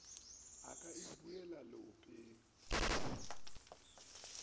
o ka e buela leopeng